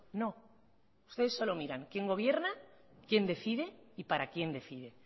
no ustedes solo miran quién gobierna quién decide y para quién decide